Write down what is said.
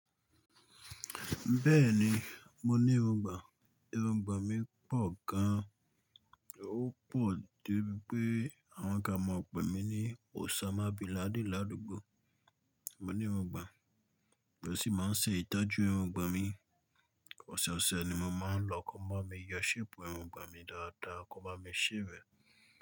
Bẹ́ẹ̀ni, mo ní irungbọ̀n, irungbọ̀n mi pọ̀ gan-an, ó pọ̀ dé bipé àwọn kan máa ń pe mí ní Òṣámà bìnládin ládùúgbò. Mo ní irungbọ̀n, lo sí máa ń ṣe ìtọ́jú irungbọ̀n mi, ọ̀sọ̀ọ̀sẹ̀ ni mo máa ń lọ kọ máa mi yọ séèpù irungbọ̀n mi dáadáa kó máa mi shave ẹ̀